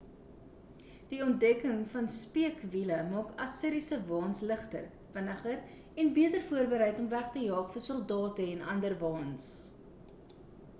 die ontdekking van speekwiele maak assiriese waens ligter vinniger en beter voorbereid om weg te jaag vir soldate en ander waens